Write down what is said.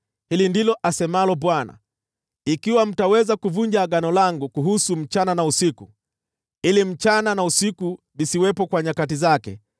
“Hili ndilo asemalo Bwana : ‘Ikiwa mtaweza kuvunja agano langu kuhusu usiku na mchana, ili usiku na mchana visiwepo kwa nyakati zake,